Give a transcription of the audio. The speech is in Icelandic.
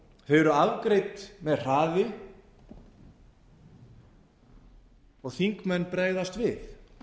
eru afgreidd með hraði og þingmenn bregðast við